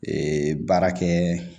Ee baara kɛ